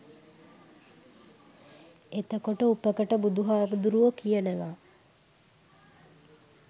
එතකොට උපකට බුදුහාමුදුරුවො කියනවා